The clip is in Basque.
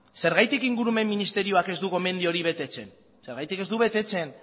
zergatik ingurumen ministerioak ez du gomendio hori betetzen zergatik ez du betetzen